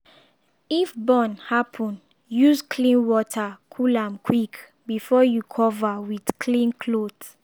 if burn happen use clean water cool am quick before you cover with clean cloth.